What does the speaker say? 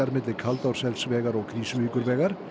milli Kaldársselsvegar og Krýsuvíkurvegar